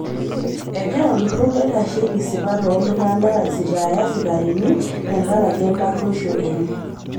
Egira olturur loitasheki sipat oo ltung'ana aisitaaya sikarini tenkaraki ekaruosho enye